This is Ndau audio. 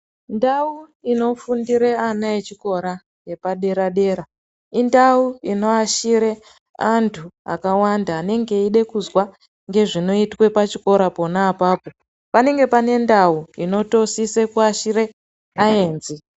Ndau inofundire ana echikora epadera dera indau inoashire antu akawanda anenge eide kuzwa ngezvinoitwe pachikora pona apapo, panenge pane ndau inotosise kugashire aenzi.